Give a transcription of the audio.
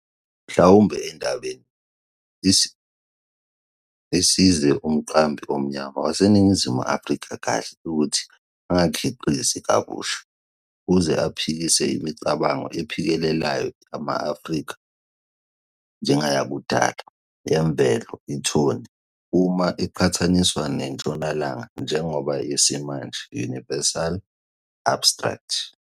mhlawumbe endabeni, isize umqambi omnyama waseNingizimu Afrika kahle ukuthi angakhiqizi kabusha, ukuze aphikise imicabango ephikelelayo yama-Afrika njengeyakudala, yemvelo, ithoni, uma iqhathaniswa nentshonalanga njengoba yesimanje, universal, abstract.